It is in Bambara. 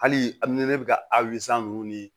Hali a ni ne bɛ ka ninnu ni